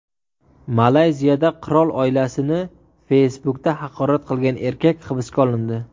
Malayziyada qirol oilasini Facebook’da haqorat qilgan erkak hibsga olindi.